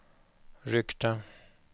ryckte